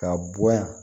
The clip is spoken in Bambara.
Ka bɔ yan